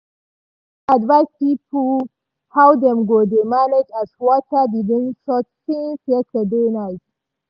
news advise people how dem go dey manage as water begin short since yesterday night.